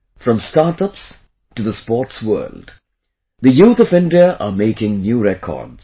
From StartUps to the Sports World, the youth of India are making new records